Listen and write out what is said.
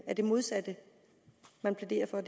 er det modsatte man plæderer for